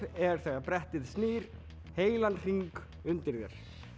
er þegar brettið snýr heilan hring undir þér